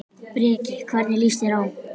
Breki: Hvernig líst þér á?